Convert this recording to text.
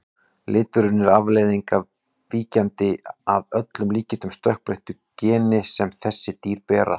Liturinn er afleiðing af víkjandi, að öllum líkindum stökkbreyttu, geni sem þessi dýr bera.